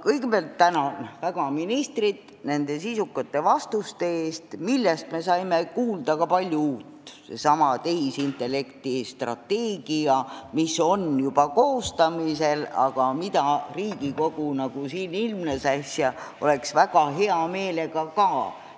Kõigepealt tänan ministrit nende sisukate vastuste eest, millest me saime kuulda ka palju uut, näiteks seesama tehisintellekti strateegia, mis on juba koostamisel, aga millest Riigikogu, nagu äsja ilmnes, oleks väga hea meelega